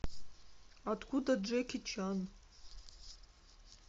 откуда джеки чан